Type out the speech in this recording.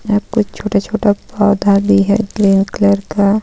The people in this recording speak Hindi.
यहां कुछ छोटा छोटा पौधा भी है ग्रीन कलर का.